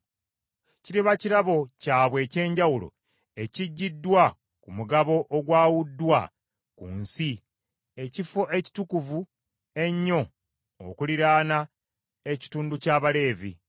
Kiriba kirabo kyabwe eky’enjawulo ekiggiddwa ku mugabo ogwawuddwa ku nsi, ekifo ekitukuvu ennyo okuliraana ekitundu ky’Abaleevi.